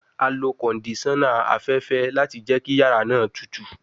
A lo kondisona afẹfẹ lati jẹ ki yara naa tutu